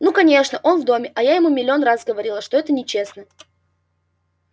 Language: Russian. ну конечно он в доме а я ему миллион раз говорила что это нечестно